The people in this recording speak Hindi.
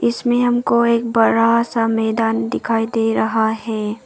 इसमें हमको एक बड़ा सा मैदान दिखाई दे रहा है।